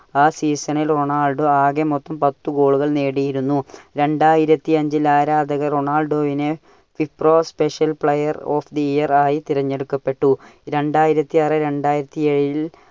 ആ season ൽ Ronaldo ആകെ മൊത്തം പത്തു goal കൾ നേടിയിരുന്നു. രണ്ടായിരത്തി അഞ്ചിൽ ആരാധകർ റൊണാൾഡോവിനെ Wipro special player of the year ആയി തിരഞ്ഞെടുക്കപ്പെട്ടു. രണ്ടായിരത്തി ആറ് രണ്ടായിരത്തി ഏഴിൽ